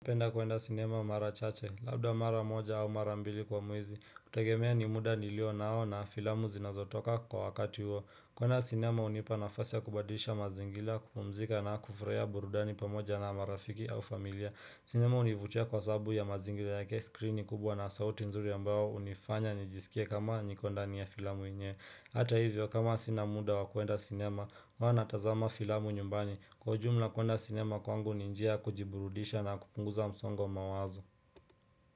Napenda kuenda sinema mara chache, labda mara moja au mara mbili kwa mwezi, kutegemea ni muda nilio nao na filamu zinazotoka kwa wakati huo. Kuenda sinema hunipa nafasi ya kubadisha mazingila kupumzika na kufurahia burudani pamoja na marafiki au familia. Sinema univutia kwa sababu ya mazingira yake screen ni kubwa na sauti nzuri ambayo hunifanya nijisikia kama niko ndani ya filamu yenyewe. Hata hivyo kama sina muda wa kuenda sinema, huwa natazama filamu nyumbani kwa jumla kuenda sinema kwangu ni njia kujiburudisha na kupunguza msongo mawazo.